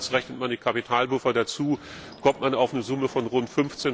Andererseits Rechnet man die Kapitalpuffer dazu, kommt man auf eine Höhe von rund